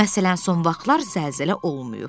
Məsələn, son vaxtlar zəlzələ olmayıb.